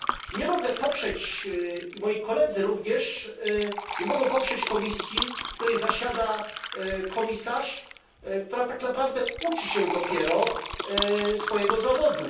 Nie mogę poprzeć, moi koledzy również nie mogą poprzeć Komisji, w której zasiada komisarz, która tak naprawdę uczy się dopiero swojego zawodu.